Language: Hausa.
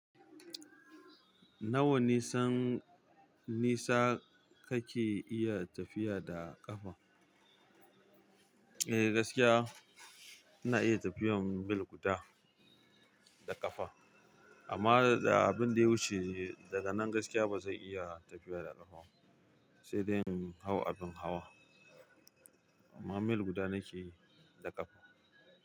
Nawa nisan nisa kake iya tafiya da ƙafa? Eh, gaskiya ina iya tafiyar mil guda da ƙafa, amma da abin da ya wuce daga nan gaskiya ba zan iya tafiya da ƙafa ba sai dai in hau abin hawa. Amma mil guda nake yi da ƙafa.